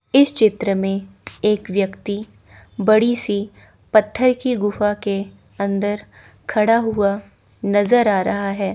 इस चित्र में एक व्यक्ति बड़ी सी पत्थर की गुफा के अंदर खड़ा हुआ नज़र आ रहा है।